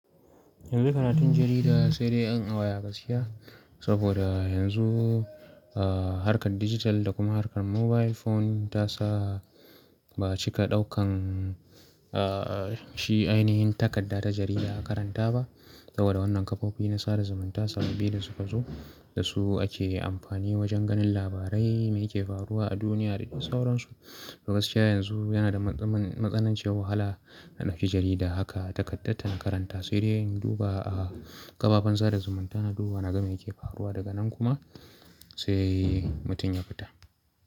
Yanzu karatun jarida sai dai in a waya gaskiya saboda yanzu, ah, harkar digital da kuma harkar mobile phone ta sa ba'a cika daukan, ah, shi ainihin takarda ta jarida a karanta ba. Saboda wannan kafofi na sada zumunta sababbi da suka zo da su ake amfani wajen ganin labarai mai yake faruwa a duniya da sauran su. To gaskiya yanzu yana da matsa-matsananciyar wahala na ɗauki jarida haka takaddar ta na karanta sai dai in duba a kafafen sada zumunta na duba na ga me yake faruwa daga nan kuma sai mutum ya fita.